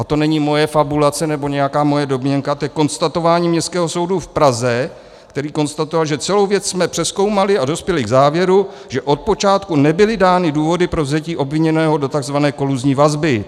A to není moje fabulace nebo nějaká moje domněnka, to je konstatování Městského soudu v Praze, který konstatoval, že celou věc jsme přezkoumali a dospěli k závěru, že od počátku nebyly dány důvody pro vzetí obviněného do tzv. koluzní vazby.